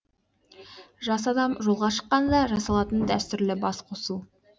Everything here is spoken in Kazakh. жас адам жолға шыққанда жасалатын дәстүрлі бас қосу